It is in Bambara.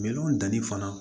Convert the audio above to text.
Minɛnw danni fana